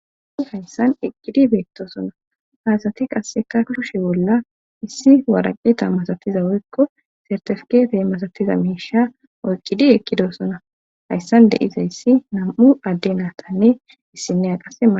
au hayssan eqqidi beetto sona hasati qasseka lushe bolla issi waraqeta masatiza woykko sartefkete masatiza miisha oyqqidi eqqido sona hayssan deiza yssi nam7u adde naatanne issinne a qase